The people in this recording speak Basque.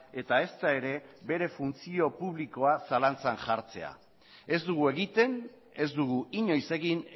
eta ezta ere bere funtzio publikoa zalantzan jartzea ez dugu egiten ez dugu inoiz egin